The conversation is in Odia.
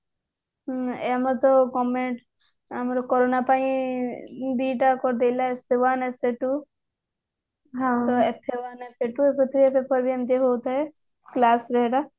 ଏଇ ଆମର ତ government ଏଇ ଆମର ତ corona ପାଇଁ ଦିଟା କରିଦେଲେ essay one essay two ତ କେତେଟା paper ରେ ଏମିତି ହଉଥାଏ class ରେ ସେଇଟା